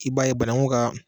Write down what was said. I b'a ye bananku ka